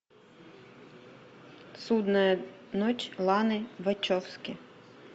судная ночь ланы вачовски